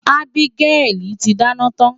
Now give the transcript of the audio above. Abigail ti dáná tán.